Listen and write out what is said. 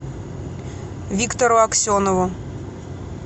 виктору аксенову